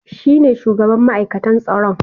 Shi ne shugaban ma'aikatan tsaron